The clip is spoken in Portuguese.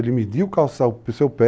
Ele media o calçado para o seu pé,